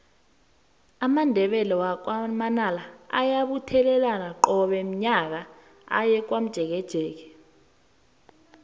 amandebele wakwa manala ayabuthelana qobe nyaka aye komjekejeke